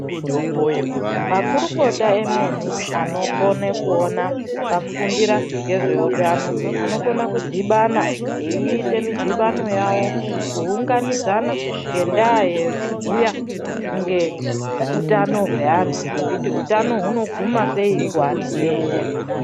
Makurukota emene anokona kuona vakafundira nezveutano vanokona kudhibhana veiite mudhibhano yavo kuwunganidzana ngendaya yekubhuya ngeutano hweantu ngekuti utano hunoguma sei kuantu eshe.